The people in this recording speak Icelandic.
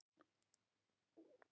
Hvernig fer þetta saman?